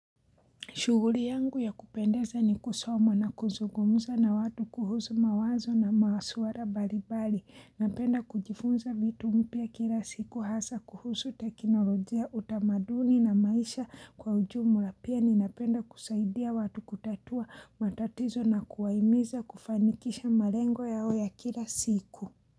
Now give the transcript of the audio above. Shughuli yangu ya kupendeza ni kusoma na kuzugomuza na watu kuhusu mawazo na masuala mbalimbali. Napenda kujifunza vitu mpya kila siku hasa kuhusu teknolojia utamaduni na maisha kwa ujumla pia ni napenda kusaidia watu kutatua matatizo na kuwahimiza kufanikisha malengo yao ya kila siku.